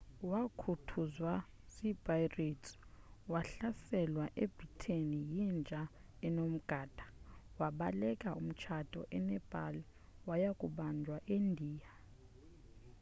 wakhuthuzwa zi-pirates wahlaselwa etibet yinja enomgada wabaleka umtshato enepal waya kubanjwa eindiya